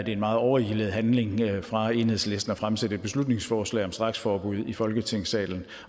en meget overilet handling fra enhedslistens fremsætte et beslutningsforslag om straksforbud i folketingssalen